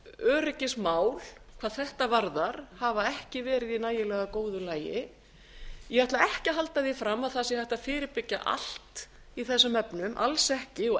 öryggismál hvað þetta varðar hafa ekki verið í nægilega góðu lagi ég ætla ekki að halda því fram að það sé hægt að fyrirbyggja allt í þessum efnum alls ekki og